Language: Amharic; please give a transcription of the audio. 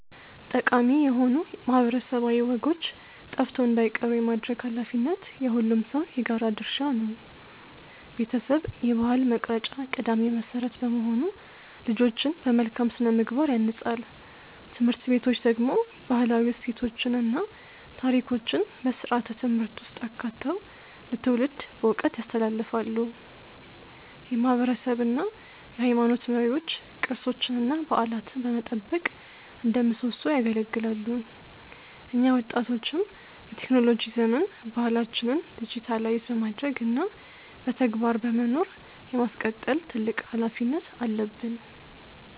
ጠቃሚ የሆኑ ማህበረሰባዊ ወጎች ጠፍተው እንዳይቀሩ የማድረግ ኃላፊነት የሁሉም ሰው የጋራ ድርሻ ነው። ቤተሰብ የባህል መቅረጫ ቀዳሚ መሰረት በመሆኑ ልጆችን በመልካም ስነ-ምግባር ያንጻል። ትምህርት ቤቶች ደግሞ ባህላዊ እሴቶችን እና ታሪኮችን በስርዓተ-ትምህርት ውስጥ አካተው ለትውልድ በዕውቀት ያስተላልፋሉ። የማህበረሰብ እና የሃይማኖት መሪዎች ቅርሶችንና በዓላትን በመጠበቅ እንደ ምሰሶ ያገለግላሉ። እኛ ወጣቶችም በቴክኖሎጂ ዘመን ባህላችንን ዲጂታይዝ በማድረግ እና በተግባር በመኖር የማስቀጠል ትልቅ ኃላፊነት አለብን።